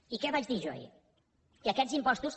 i què vaig dir jo ahir que aquests impostos